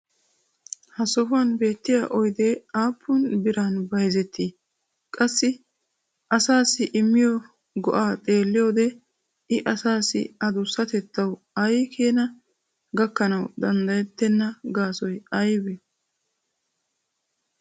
ha sohuwan beettiya oydee aappun biran bayzzettii? qassi asaassi immiyo go'aa xeelliyode i assi addusatettayu ay keena ganawukka danddayettenna gaasoy aybee?